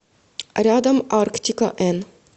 рядом арктика н